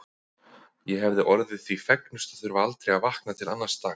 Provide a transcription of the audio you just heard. Ég hefði orðið því fegnust að þurfa aldrei að vakna til annars dags.